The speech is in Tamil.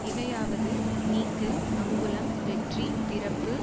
இவையாவது நீக்கு அங்குளம் வெற்றி பிறப்பு